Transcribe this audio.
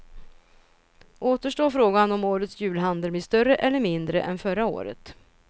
Återstår frågan om årets julhandel blir större eller mindre än förra året.